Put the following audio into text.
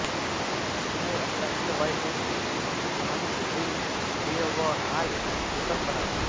एक नए अंतरराष्ट्रीय हवाई अड्डे की उपस्थिति मोहाली को एक व्यवहार्य विकल्प बनाती है